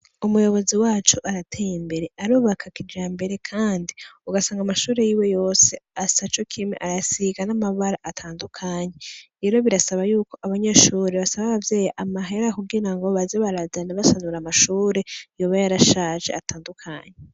Umuyobozi wacu arateye imbere, arubaka kijambere kandi ugasanga amashure yiwe yose asa cokimwe arayasiga N’amabara atandukanye, rero birasaba yuko abanyeshure basaba abavyeyi amahera kugira ngo baza barazana basanura amashure yoba yarashaje atandukanye.